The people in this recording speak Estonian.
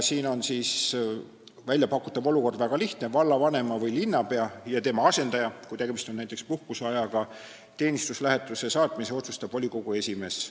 Siin on väljapakutav olukord väga lihtne: vallavanema või linnapea ja tema asendaja, kui tegemist on näiteks puhkuseajaga, teenistuslähetusse saatmise otsustab volikogu esimees.